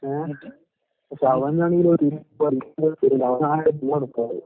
ഏഹ്. പക്ഷെ അവനാണെങ്കിലത്